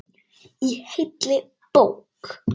Í heilli bók.